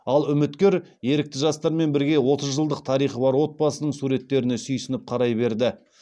ал үміткер ерікті жастармен бірге отыз жылдық тарихы бар отбасының суреттеріне сүйсініп қарай берді